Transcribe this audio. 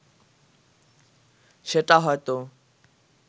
সেটা হয়ত